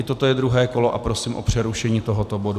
I toto je druhé kolo a prosím o přerušení tohoto bodu.